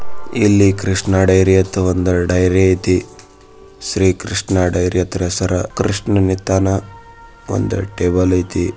ಇಲ್ಲಿ ಕೃಷ್ಣ ಡೈರಿ ಅಂತ ಒಂದು ಡೈರಿ ಐತಿ ಶ್ರೀಕೃಷ್ಣ ಡೈರಿ ಅಂತ ಹೆಸರು ಇದೆ ಒಂದು ಡೈರಿ ಐತೆ ಒಂದು ಟೇಬಲ್ ಆಯ್ತು.